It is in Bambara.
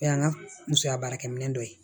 O y'an ka musoya baarakɛminɛ dɔ ye